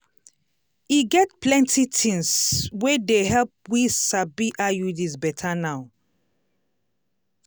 e get plenti tings wey dey help we sabi iuds betta now.